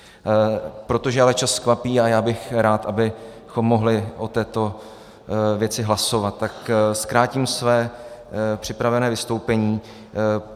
Protože ale čas kvapí a já bych rád, abychom mohli o této věci hlasovat, tak zkrátím své připravené vystoupení.